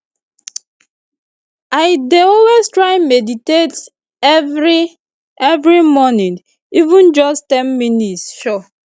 i dey always try meditate every every morning even just ten minutes sure